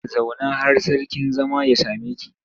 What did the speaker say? Zauna har sarkin zama ya same ki!